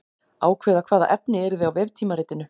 Ákveða hvaða efni yrði á veftímaritinu.